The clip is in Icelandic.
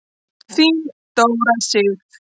Þín Dóra Sif.